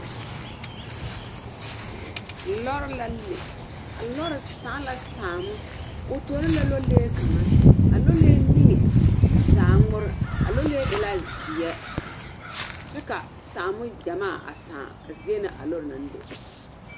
Lɔre la le, a lɔre sãã la sããmo. O tɔ la lɔlee kaŋa, a lɔlee niŋe zaaŋ ŋmore. A lɔlee e la zeɛ kyɛ ka sããmo gyamaa a sãã a zie na a lɔre naŋ le.